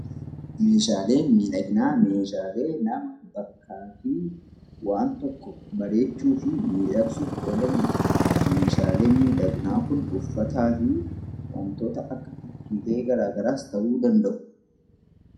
Meeshaaleen miidhaginaa, Meeshaalee nama fi waan tokko bareechuu fi miidhagsuuf oolanidha. Meeshaaleen miidhaginaa Kun uffataa fi waantota akka tikera ta'uu danda'u.